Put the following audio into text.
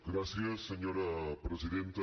gràcies senyora presidenta